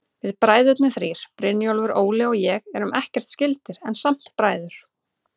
Við bræðurnir þrír, Brynjólfur, Óli og ég, erum ekkert skyldir, en samt bræður.